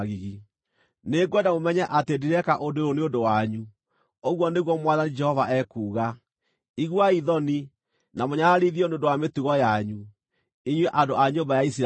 Nĩngwenda mũmenye atĩ ndireeka ũndũ ũyũ nĩ ũndũ wanyu, ũguo nĩguo Mwathani Jehova ekuuga. Iguai thoni, na mũnyararithio nĩ ũndũ wa mĩtugo yanyu, inyuĩ andũ a nyũmba ya Isiraeli!